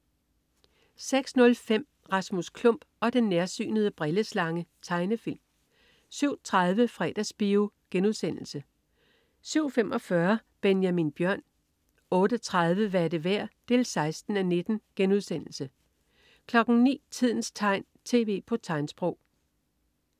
06.05 Rasmus Klump og den nærsynede brilleslange. Tegnefilm 07.30 Fredagsbio* 07.45 Benjamin Bjørn 08.30 Hvad er det værd? 16:19* 09.00 Tidens tegn, tv på tegnsprog